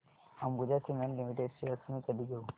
Ambuja cement limited shares मी कधी घेऊ